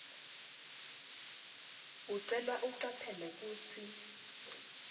ucelwa ucaphele kutsi